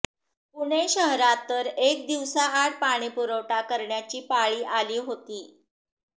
पुणे शहरात तर एक दिवसाआड पाणीपुरवठा करण्याची पाळी आली होती